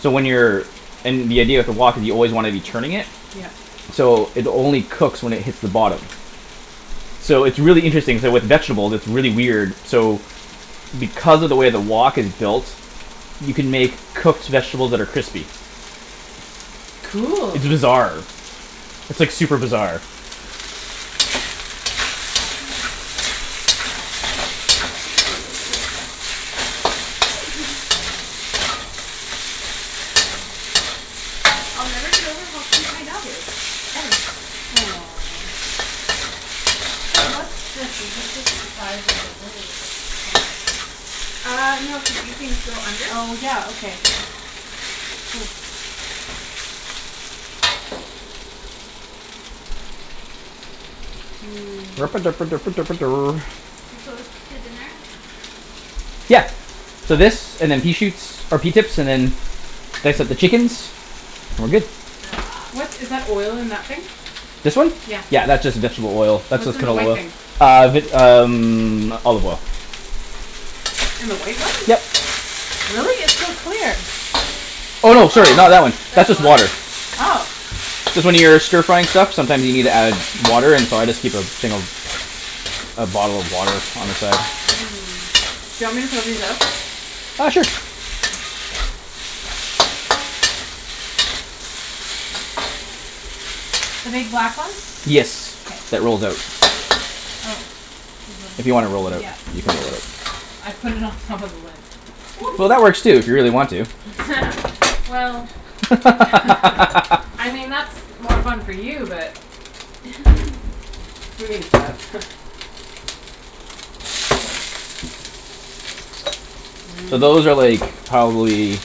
so when you're and the idea of the wok is you always wanna be turning it Yep. so it only cooks when it hits the bottom. So it's really interesting, k, with vegetables it's really weird, so because of the way the wok is built you can make cooked vegetables that are crispy. Cool. It's bizarre. It's, like, super bizarre. I'll never get over how cute my dog is, ever. Aw. Hey, what's this? Is this just the side of the table or does it come out? Ah, no, cuz these things go under. Oh, yeah, okay. Yeah. Hmm. We close to dinner? Yeah. So Okay. this, and then pea shoots, or pea tips, and then then I set the chickens and we're good. Ah. What's, is that oil in that thing? This one? Yeah, that's just vegetable oil. That's What's just in the canola white oil. thing? Ah vit- um olive oil. In the white one? Yep. Really? It's so clear. Oh, no, sorry, not Oh, that one. That's that's just water. water. Oh. Cuz when you're stir frying stuff sometimes you need to add water, and so I just keep a thing of a bottle of water on the side. Mm. Do you want me to throw these out? Ah, sure. The big black ones? Yes, K. that rolls out. Oh. There's a If li- you wanna roll it out, Yeah, you can there's a roll it l- out. I put it on top of the lid. Whoops. Well, that works too, if you really want to. Well. I mean, that's more fun for you, but. So those are, like, probably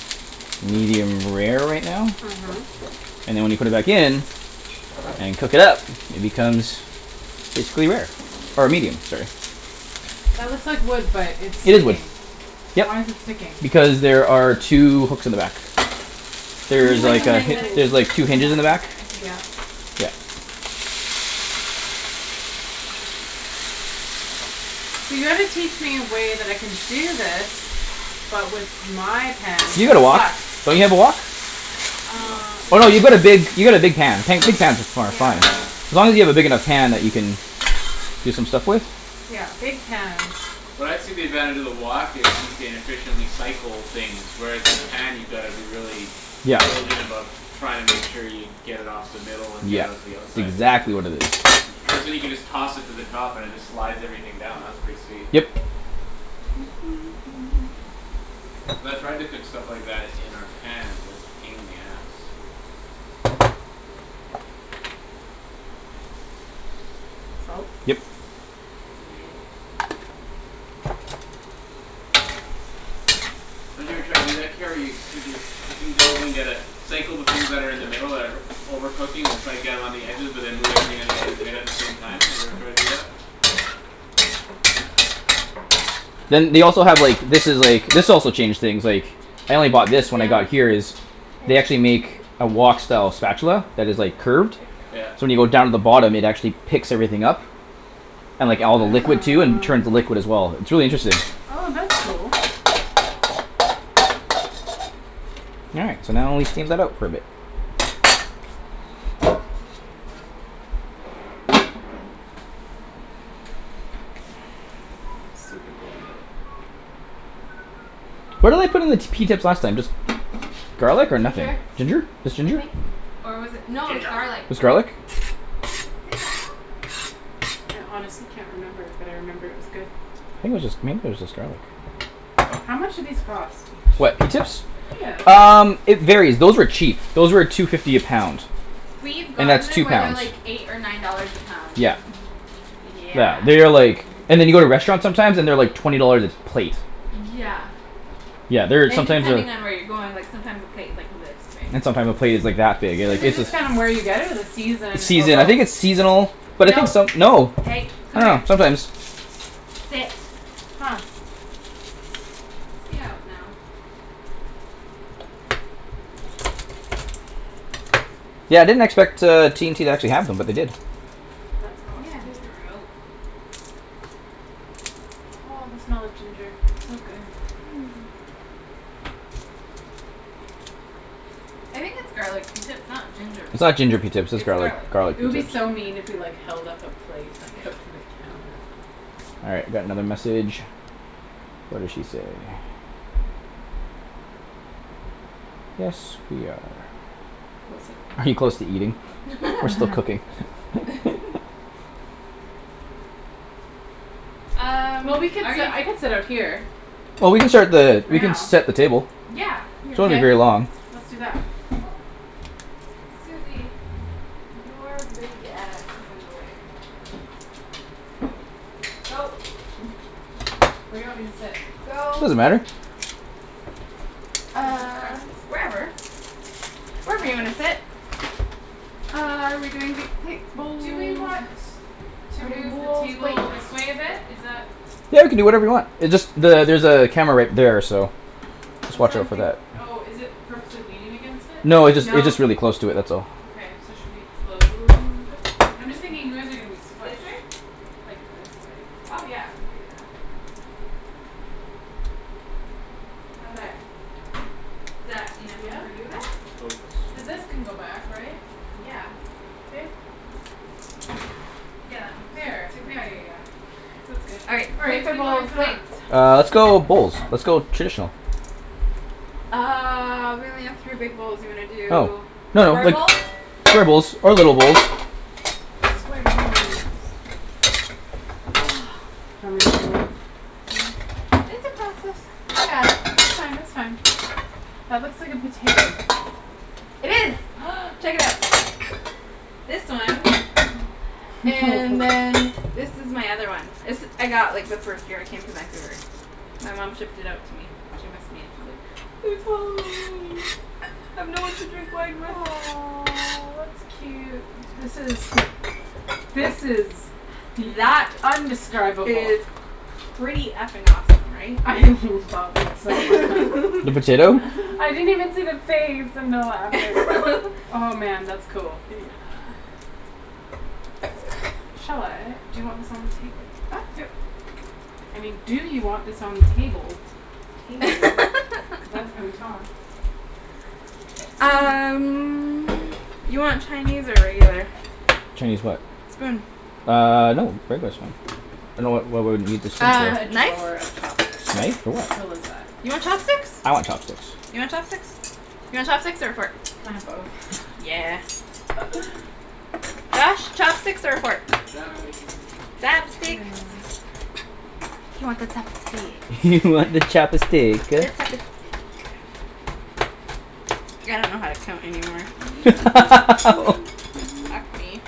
medium rare right now. Mhm. And then when you put it back in and cook it up it becomes basically rare. Or medium, sorry. That looks like wood but it's It is wood, sticking. yep. Why's it sticking? Because there are two hooks in the back. There's There's, like like, a a hi- magnetic There's like strip Cool. two in the hinges in back the of back. it, I think. Yeah. Yeah. So you gotta teach me a way that I can do this but with my pans You got that a wok; suck. don't you have a wok? No, Um. we Oh, don't. no, you've got a big, you got a big pan, pan, big pans is fun, fun. Yeah. As long as you have a big enough pan that you can do some stuff with. Yeah, big pans. What I see the advantage of the wok is you can efficiently cycle things, whereas in a pan you gotta be really Yeah. diligent about trying to make sure you get it off the middle and get it Yeah, out to the it's outside, exactly basically. what it is. Cuz then you can just toss it to the top and it just slides everything down; that's pretty sweet. Yep. Cuz I've tried to cook stuff like that in our pans and it's a pain in the ass. Salt. Yep. Yeah. Don't you ever try to do that, Kara, where coo- you're cooking things and you gotta cycle the things that are in the middle that are over cooking and try to get them on the edges but then move everything on the edges in at the same time, have you every tried to do that? Then they also have, like, this is like, this also changed things, like I only bought this when I got Down. here is They Hey. actually make a wok style spatula that is, like, Good girl. curved Yeah. so when you go down to the bottom it actually picks everything up and, like, Oh, all the nice. liquid too and turns the liquid as well. It's really interesting. Interesting. Oh, that's cool. All right, so now we steam that out for a bit. Super cool. What did I put in the t- pea tips last time, just garlic or Ginger, nothing? Ginger? Just I ginger? think. Or was it, no, it was Ginja garlic. It was garlic? I honestly can't remember but I remember it was good. I think it was just, maybe it was just garlic. How much do these cost? What, pea tips? Yeah. Um, it varies; those were cheap. Those were two fifty a pound. We've And gotten that's them two where they're, pounds. like, eight or nine dollars a pound. Yeah. Yeah. Yeah, they are like and then you go to restaurants sometimes and they're, like, twenty dollars a plate. Yeah. Yeah, they're And sometimes uh depending on where you're going, like, sometimes the plate's, like, this big. and sometime a plate is like that big you're, Is Is like, it its like this. just just kinda where you get it or the It's season or season, I both? think it's seasonal. But I think No, some, no. hey, I come don't here. know, sometimes. Sit. Huh. Stay out now. Yeah, I didn't expect, uh, T and T to actually have them but they did. That's Yeah, I awesome. thought they were out. Oh, the smell of ginger. It's so good. Hmm. I think its garlic pea tips, not ginger It's pea not tips. ginger pea tips; its It's garlic, garlic. garlic It would pea be tips. so mean if we, like, held up a plate, like, up to the camera. All right, we got another message. What did she say? Yes, we are. Are you close to eating? We're still cooking. Um, Well, we could are sit, you I could sit out here. Well, we can start the, For we can now. set the table. Yeah, here. So won't be K. very long. Let's do that. Oop- Susie. Your big ass is in the way. Go. Where do you want me to sit? Go. Doesn't matter. You have a Uh, preference? wherever. Wherever you wanna Wherever? sit. Uh, are we doing big plates, Do we bowls? want to move the bowls, plates. table this way a bit? Is that Yeah, you can do whatever you want. It just the- there's a camera right there, so. Just That's why watch I'm out for think- that. Oh, is it purposely leaning against it? No, it jus- it's No. just really close to it; that's all. Okay, so should we slowly move it? I'm just thinking you guys are gonna be this squished. way? Like this way. Oh, yeah, we could do that. How's that? There. Is that enough room for Yeah? you there? Coats. Cuz this can go back, right? Yeah. Yeah, that moves There. super Yeah, yeah, easy. yeah. That's good. All right, All right. plates What or do you want me bowls. to put Plates. on? Uh, let's go with bowls. Let's go traditional. Uh, we may have three big bowls. You wanna Oh. do No, no, square like bowls? square bowls or little bowls. Do you want me to hold some- It's a process. I got it. It's That's fine. fine, It's that's fine. fine. That looks like a potato. It is. Check it out. This one. And then this is my other one. This I got, like, the first year I came to Vancouver. My mom shipped it out to me. She missed me and she's like "It's Halloween. I have no one to drink wine with." Aw, that's cute. This is This is Bea- That t- undescribable. is pretty f- ing awesome, right? I love it so mu- The potato? I didn't even see the face. Oh, man, that's cool. Yeah. Shall I? Do you want this on the table? I mean, do you want this on the table, table, cuz that's how we talk. Um, you want Chinese or regular? Chinese what? Spoon. Ah, no, regular's fine. You have Uh, a knife? drawer of chopsticks. Knife? For How cool is what? that. You want chopsticks? I want chopsticks. You want chopsticks? You want chopsticks or a fork? Can I have both? Yeah. Josh, chopsticks or a fork? Hey, Chopsticks. good Chopsticks. girl. You want the chopstick. You want the chop a stick The uh. chop a steek. I don't know how to count anymore. Fuck me.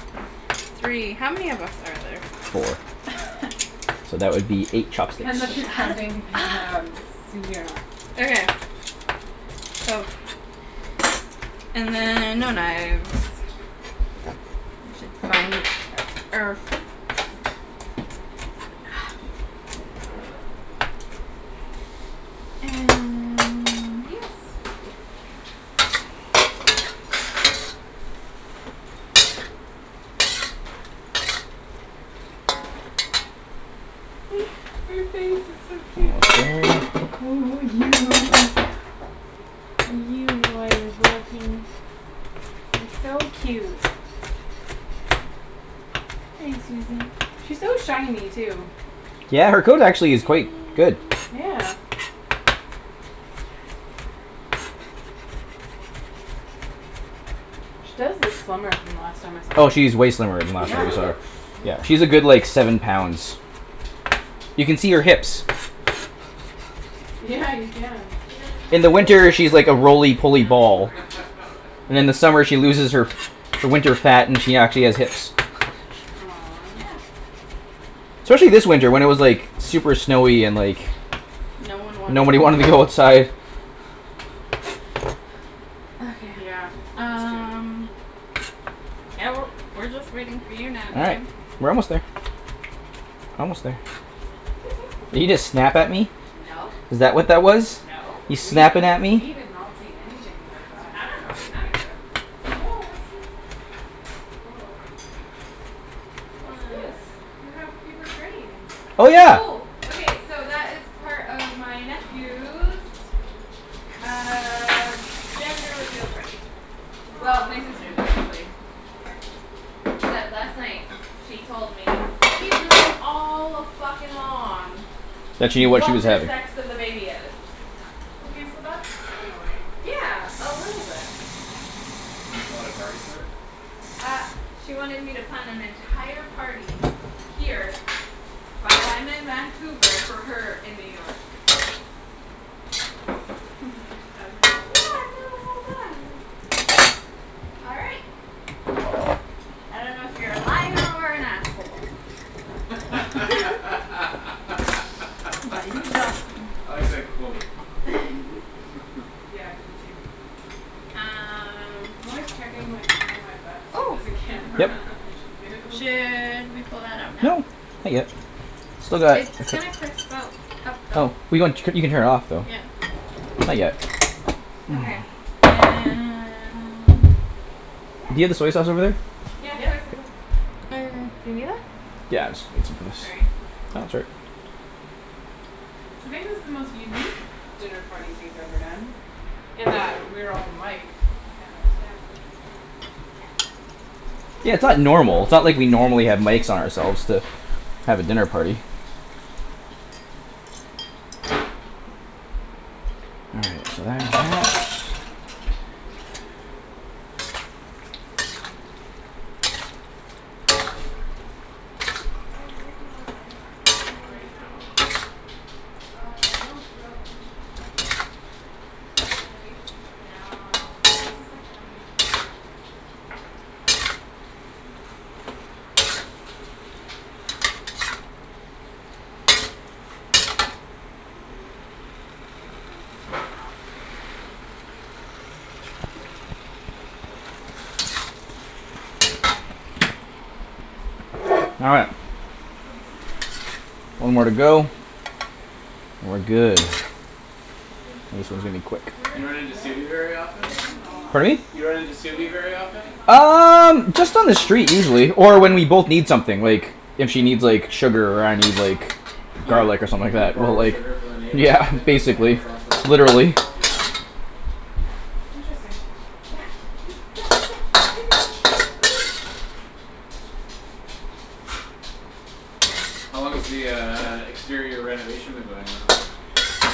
Three, how many of us are there? Four. So that would be eight chopsticks. Depends if you're counting Pe- um Susie or not. Okay. So. And then no knives. Which is fine or And Her face is so cute. Oh, you. You know I was looking. It's so cute. Hey Susie. She's so shiny too. Yeah, her coat actually is quite good. Yeah. She does look slimmer from the last time I saw Oh, her, she's way slimmer then last that you yeah. saw her. Whoops. Yeah, she's a good, like, seven pounds. You can see her hips. Yeah, you can. She doesn't In have the Rolie winter, Polie she's like a Ollies when she Rolie lays Polie down ball. anymore. And then in the summer she loses her her winter fat, and she actually has hips. Aw. Yeah. Especially this winter when it was, like super snowy and, like No one wanted nobody to wanted to go move. outside. Okay. Yeah, it's true. Um Yeah, we're, we're just wait for you now, All right, Ian. we're almost there. Almost there. Did you just snap at me? No. Is that what that was? No. You snappin' We, at we me? did not see anything like that. I don't know what you're talking about. Woah, what's this? Woah. What's this? You have Um. paper cranes. Oh, yeah. Oh. Okay, so that is part of my nephew's uh gender reveal party. Well, my Aw. sister's, actually. Except last night she told me she's known all a-fuckin'-long That she knew what she what was the having. sex of the baby is. Okay, so that's annoying. Yeah, a little bit. And you a party for it? Uh she wanted me to plan an entire party here while I'm in Vancouver for her in New York. Then she tells me, like, "No, I've known the whole time." All right. I don't know if you're a liar or an asshole. I But you're something. like that quote. Yeah, I do too. Um I'm always checking, like, behind my butt to see if Oh. there's a Yep. camera and should move. Should we pull that out now? No, not yet. Still got a It's gonna cup- her off though. Yeah. Not yet. Okay, and Yeah. Do you have the soy sauce over there? Yeah, soy Yep. sauce's Yeah, it's, it's a. Sorry. No, it's all right. So maybe this is the most unique dinner party we've ever done in that we're all miked and there's cameras. Yeah, yep. Yeah, it's Somebody's Somebody's not normal. It's throwing not the throwing like we thing. normally things. have mikes on ourselves to have a dinner party. All That's right, so gotta be that's that. downstairs neighbor? I mean, that's interesting. Oh, yeah, they're taking all the siding off. Like, And then right they're now? taking Uh, no, throughout the whole renovation's from now Cuz this is, like, an unusual time to be doing this. Oh, yeah, I think it's just downstairs. Oh. Yeah. Cool. It's completely off. I didn't realize their siding was off. Well All right. So this is your, your One more to go. balcony, cool. And we're good. Soon to be This one's gonna gone. be quick. You run into Really? very They're Yeah, often? they're pulling gonna it all off? change Pardon me? Do you run into Well, they're very taking the often? thing off. And they're Um, just on changing the the street siding so usually, they'll be or when Yeah. we taking both this need off. something, Yep. like if she And needs, like, they're putting sugar or like I a need, like frosted You glass garlic or something like b- and that we'll, borrow like sugar from the neighbour type Yeah, black of thing? That's, basically. that's whatever awesome. on. Literally. Oh. Interesting. Yeah, you, yeah, yeah, what are you doing? What are you doing? How long has the uh exterior renovation been going on?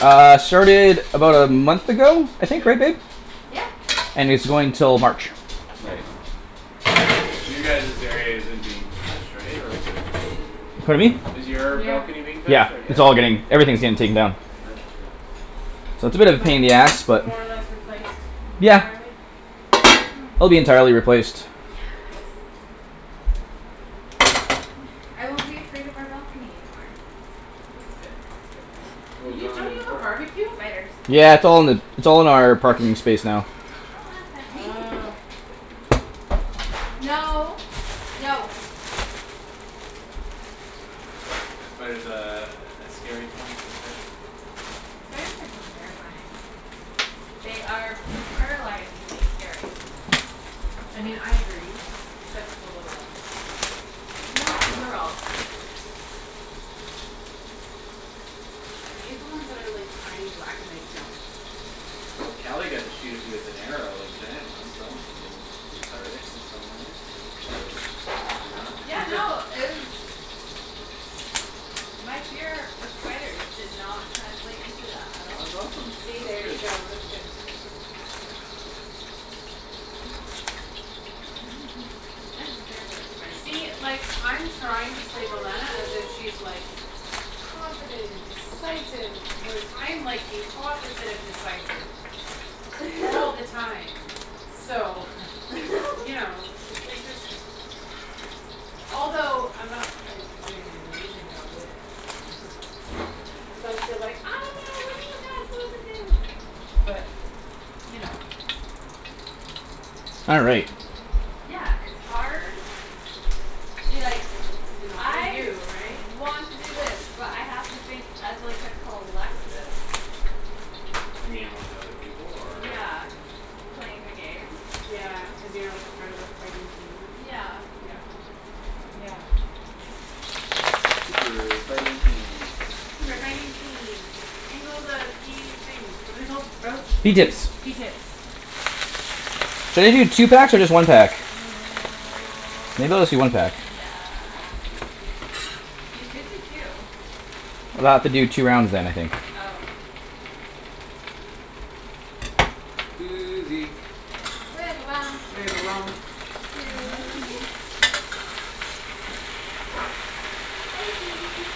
Uh, started about a month ago, I Yeah? think? Right, babe? Yeah. And it's going till March. Right. You guys's area isn't being touched, right, or is it? Pardon me? Is your balcony being touched Yeah, or? Yeah? it's all getting, everything's getting taken down. Oh, interesting. That's a bit and of a like pain in the ass, but. more or less replaced Yeah. entirely It'll be entirely replaced. Yes. I won't be afraid of our balcony anymore. That's good. That's a good thing. What was You, wrong with don't it you have a before? barbeque? Spiders. Yeah, it's all in the, it's all in our parking space now. Oh. No. No. Spider's a, a scary point for Ped? Spiders are fucking terrifying. They are paralyzingly scary. I mean, I agree except for the little ones. No, they're all scary. Okay. I hate the ones that are, like, tiny black and they jump. Well, Kali got to shoot a few with an arrow, like, giant ones so that musta been cathartic in some ways or maybe not. Yeah, no, it was My fear of spiders did not translate into that at all. That's awesome; See? that's There you good. go; that's good. Eh. Yep. spider See? somewhere. Like, I'm trying to play as if she's, like confident and decisive whereas I'm like the opposite of decisive all the time. So, you know, it's interesting. Although I'm not, like, doing an amazing job of it. Cuz I'm still like, "I don't know; what do you guys wanna do" but you know. All right. Yeah, it's hard to be like To not be "I you, right? want to do this but I have to think as, like, a collective." You mean with other people, or? Yeah, playing the game. Yeah, cuz you're, like, a part of a fighting team? Yeah. Yeah. Yeah. Super fighting team, that's Super your fighting name. team. In go the pea things. What are they called? Sprouts? Pea Pea tips? tips. Pea tips. Should I do two packs or just one pack? Maybe I'll just do one pack. Yeah. You could do two. Then I'll have to do two rounds then, I think. Oh. Susie. Susie. Hi. Hi, Susie.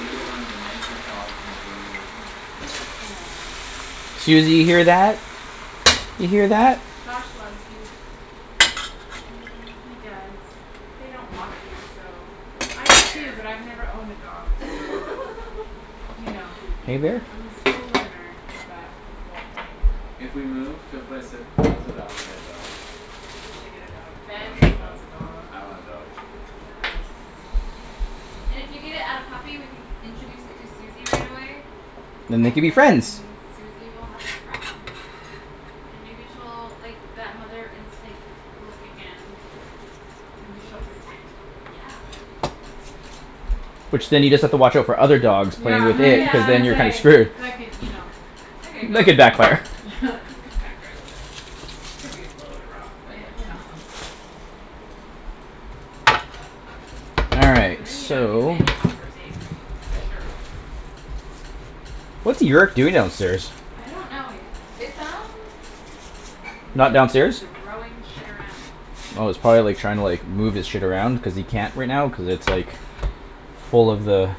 You're one of the nicest dogs in the whole world. Yes, you are. Susie, Aw. you hear that? You hear that? Josh loves you. He does. They don't walk you so I it's do too, fair. but I've never owned a dog so you know. Hey, there. I'm still a learner with that whole thing. If we move to a place that allows it, I wanna get a dog. You should get a dog. I Ben wanna get a dog. wants a dog. I want a dog. And if you get it at a puppy we can introduce it to Susie right away. Then they And could be friends. then Susie will have a friend. And maybe she'll, like, that mother instinct will kick in. Maybe she'll protect it. Yeah. Which then you just have to watch our for other dogs playing Yeah, with was it just because Yeah, then gonna and you're kinda say, then screwed. that could, you know That could backfire. back for a little bit. Could be a little bit rough, but, you Yeah. know. All So right, then you know you so. and your pup are safe for sure. What's Yerk doing downstairs? I don't know it, it sounds like he's Not just downstairs? throwing shit around. Oh, he's probably, like, trying to, like move his shit around cuz he can't right now, cuz it's, like full of the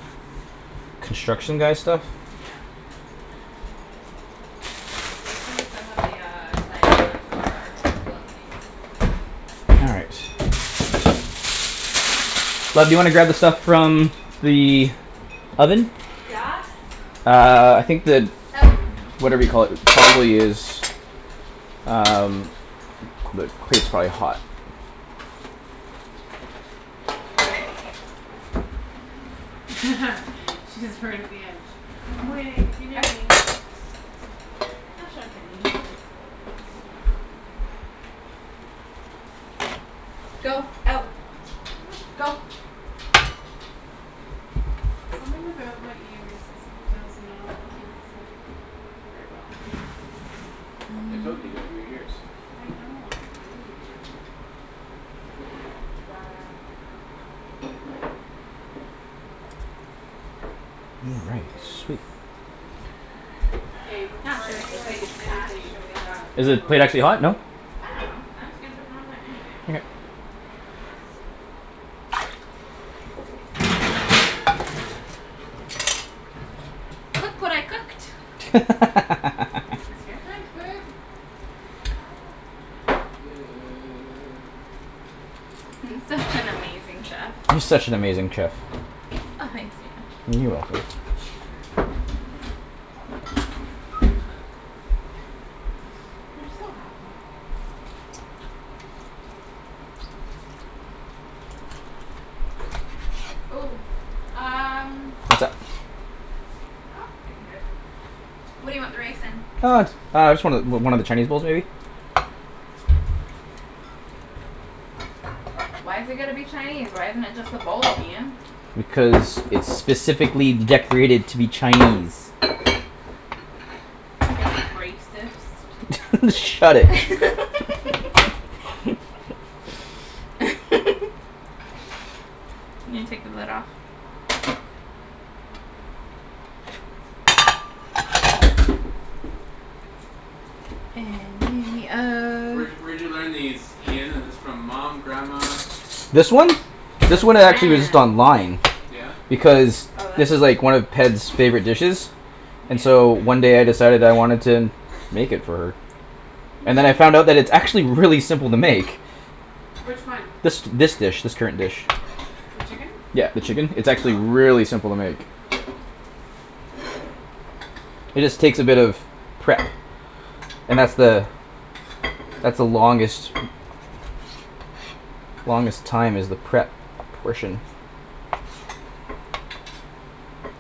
construction Hmm. guy stuff. Yeah. They threw some of the uh siding onto our balcony. All right. Oops. Ah. Love, do you wanna grab the stuff from the oven? Yes. Uh, I think the Out. whatever you call it probably is Um. probably hot. She's right at the edge. "I'm waiting if you need me." I'm not sure if we need this, but. Go. Out. Go. Something about my ears is, does not keep this in. Very well. I told you you got weird ears. I know, I really do. All right, sweet. K, I'm not before sure the anyone plate is eats anything, actually there has hot to be Is but the photos. plate actually hot? No? I don't know. I'm just gonna put it on there anyway. Okay. Look what I cooked. What was here? Ah, wash your It does hands. look good. I'm such an amazing chef. You're such an amazing chef. Oh, thanks, You're Ian. welcome. You're a cheater. You're so happy. Ooh, um What's up? Nope, I can do it. What do you want the rice in? Uh, j- uh, just one of, o- one of the Chinese bowls, maybe? Why's it gotta be Chinese? Why isn't it just a bowl, Ian? Cuz it's specifically decorated to be Chinese. Y'all T- Shut racist. it. I'm gonna take the lid off. And in the So where'd ove- y- where'd you learn these, Ian, is this from mom, grandma, This someone one? else? This From one, it actually was just grams. online. Yeah? Because Oh, this is like this? one of Ped's favorite dishes. And so one Yeah. day I decided I wanted to make it for her. And then I found that it's actually really simple to make. Which one? This, this dish. This current dish. The chicken? Yeah, the chicken, it's actually Oh. really simple to make. It just takes a bit of prep. And that's the that's the longest longest time is the prep portion.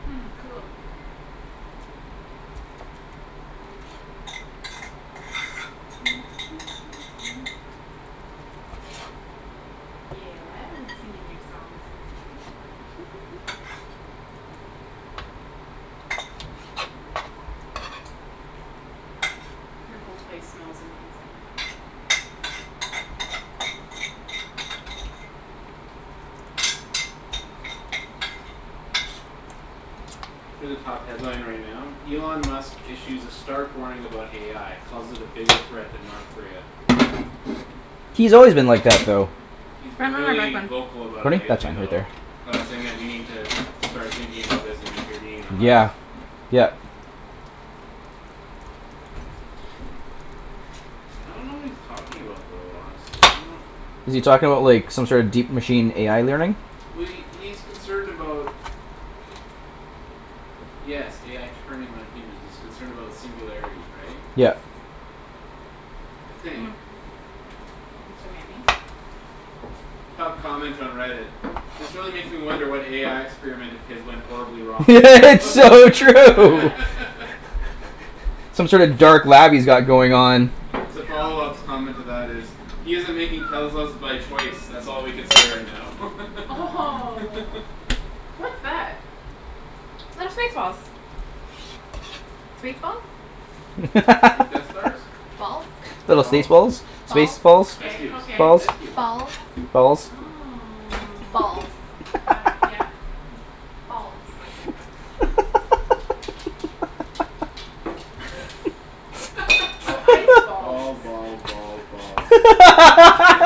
Hmm, cool. Yeah, we're singing your song, Susie. Your whole place smells amazing. Here's a top headline right now, Elon Musk issues a stark warning about AI calls it a bigger threat than North Korea. He's always been like that though. He's been Front one or back really one? vocal about it Pardon me? That's lately fine, right though. there. About saying that we need to start thinking about this and intervene unless Yeah, yep. I don't know what he's talking about though, honestly. I don't know Is he talking about, like, some sort deep machine AI learning? Well, he, he's concerned about Yes, AI turning on humans; he's concerned about the singularity, right? Yep. I think. It's so yummy. Top comment on Reddit. "This really makes me wonder what AI experiment of his went horribly wrong." It's so true. Some sort of dark lab he's got going on. The follow-up comment to that is "He's isn't making Teslas by choice. That's all we can say right now." Oh, what's that? They're space balls. Space balls. Like Death Stars? Balls Little Balls. stace balls. Space Balls balls, Ice K, cubes, okay. balls. ice cubes. Balls Balls. Oh. Balls Got it, yeah. Balls Oh, ice Balls, balls. balls, balls, balls.